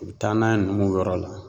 U bɛ taa n'a ye numuw. yɔrɔ la